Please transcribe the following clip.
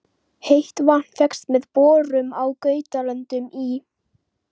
Heitt vatn fékkst með borun á Gautlöndum í